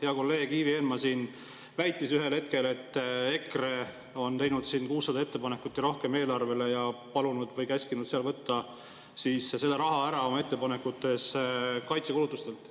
Hea kolleeg Ivi Eenmaa siin väitis ühel hetkel, et EKRE on teinud 600 ja rohkem ettepanekut eelarve kohta ja palunud või käskinud võtta selle raha ära oma ettepanekute jaoks kaitsekulutustelt.